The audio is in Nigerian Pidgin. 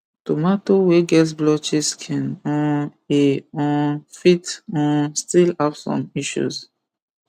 tomato wey get blotchy skin um e um fit um still have some issues